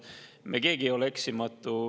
Me keegi ei ole eksimatu.